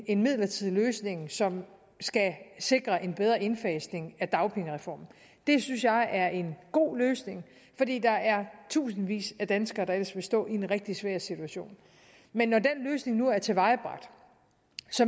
en midlertidig løsning som skal sikre en bedre indfasning af dagpengereformen det synes jeg er en god løsning fordi der er tusindvis af danskere der ellers ville stå i en rigtig svær situation men når den løsning nu er tilvejebragt